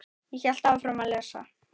Ég hélt áfram að lesa.